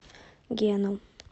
гену